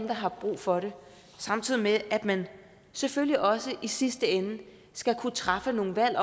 der har brug for det samtidig med at man selvfølgelig også i sidste ende skal kunne træffe nogle valg